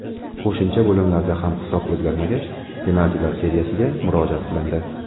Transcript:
Qo‘shimcha bo‘limlarda ham hisob o‘zgarmagach penaltilar seriyasiga murojaat qilindi.